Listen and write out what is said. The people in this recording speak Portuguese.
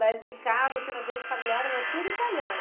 Mas em casa, assim no ambiente familiar, era tudo italiano?